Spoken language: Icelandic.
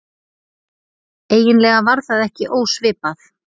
Eiginlega var það ekki ósvipað